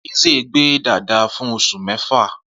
Eze gbe dada fun osu mefa.